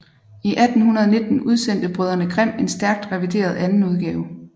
I 1819 udsendte brødrene Grimm en stærkt revideret andenudgave